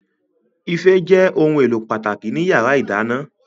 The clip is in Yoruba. Ife jẹ́ ohun èlò pàtàkì ní yàrá ìdáná